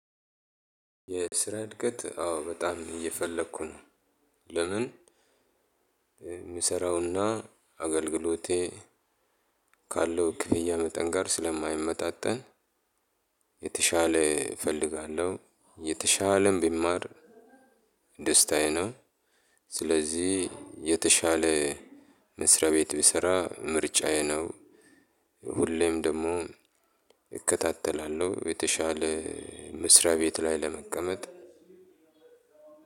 የስራ እድገት አዎ በጣም እየፈለኩ ነው። ለምን? የምሰራውና አገልግሎቴ ካለው ክፍያ መጠን ጋር ስለማይመጣጠን። የተሻለ እፈልጋለሁ የተሻለም ብማር ደስታዬ ነው። ስለዚህ የተሻለ መስሪያ ቤት ብሰራ ምርጫዬ ነው። ሁሌም ደግሞ እከታተላለሁ የተሻለ መስሪያ ቤት ላይ ለመቀመጥ።